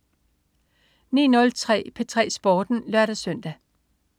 09.03 P3 Sporten (lør-søn)